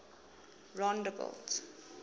rondebult